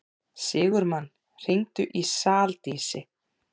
Sigurmann, hringdu í Saldísi.